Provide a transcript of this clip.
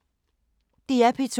DR P2